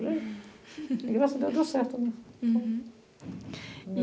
E graças a Deus deu certo, né? Uhum. E